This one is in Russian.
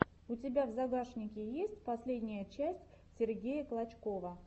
у тебя в загашнике есть последняя часть сергея клочкова